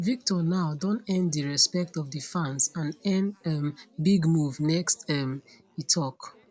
victor now don earn di respect of di fans and earn um big move next um e tok